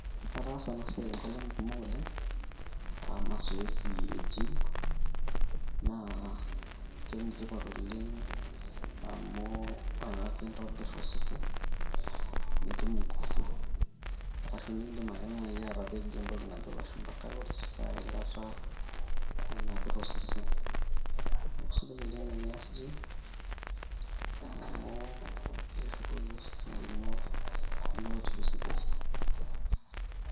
ataasa ena siai inkolong'i kumok oleng amu masoesi e gym naa kenetipat oleng amu akakintobirr osesen nitum ingufu arashu nindim ake naaji atapejo entoki ano ilashumpa calories eilata nanapita osesen neeku sidai oleng tenias gym amu ekeshukoki osesen lino biotisho sidai